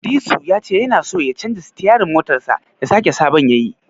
Disu ya ce tana so ya canja sitiyarin motarsa ya saka sabon yayi.